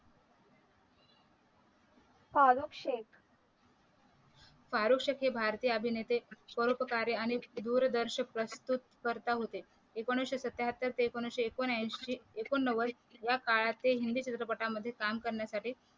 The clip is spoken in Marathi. फारुख शेख फारुख शेख हे भारतीय अभिनेते स्वरूप कार्य आणि दूरदर्शक प्रस्तुतकरता होते एकोणीशे सत्याहत्तर ते एकोणीशे एकोणऐंशी एकोणनव्वद या काळाचे हिंदी चित्रपटांमध्ये काम करण्यासाठी